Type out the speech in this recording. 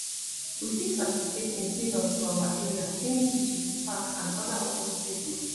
we fit participate in clean ups for our area cleaning beaches parks and oda open spaces